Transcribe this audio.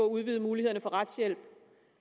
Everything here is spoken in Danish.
udvide mulighederne for retshjælp